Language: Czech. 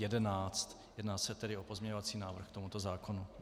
Jedná se tedy o pozměňovací návrh k tomuto zákonu.